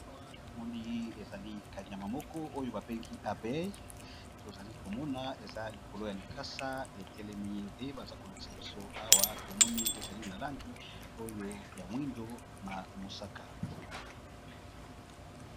Awa tomoni ezali kanyama moko oyo babengi abeille, tozali komona eza likolo ya likasa etelemi, nde baza kolakisa biso awa tomoni ezali na langi oyo ya mwindo na mosaka.